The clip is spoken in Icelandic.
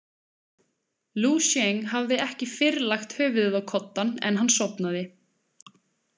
Lú Sjeng hafði ekki fyrr lagt höfuðið á koddann en hann sofnaði.